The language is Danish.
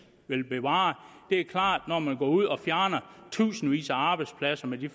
vil bevare det er klart at når man går ud og fjerner tusindvis af arbejdspladser med de